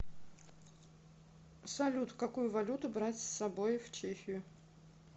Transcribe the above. салют какую валюту брать с собой в чехию